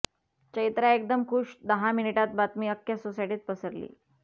चैत्रा एकदम खूश दहा मिनिटात बातमी आख्ख्या सोसायटीत पसरली